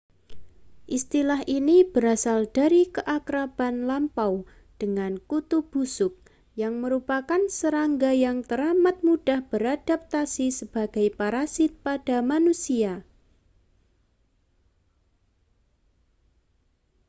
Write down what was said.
istilah ini berasal dari keakraban lampau dengan kutu busuk yang merupakan serangga yang teramat mudah beradaptasi sebagai parasit pada manusia